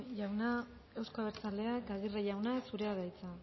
jauna euzko abertzaleak aguirre jauna zurea da hitza